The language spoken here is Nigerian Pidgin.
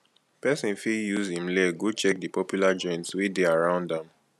person fit use im leg go check di popular joints wey dey around am